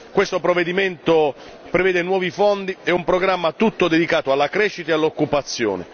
Questo provvedimento prevede nuovi fondi e un programma tutto dedicato alla crescita e all'occupazione.